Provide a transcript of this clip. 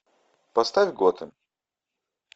поставь готэм